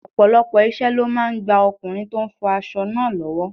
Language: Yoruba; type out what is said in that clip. Ọ̀pọ̀lọpọ̀ iṣẹ́ ló máa ń gba ọkùnrin tó ń fọ aṣọ náà lọ́wọ́.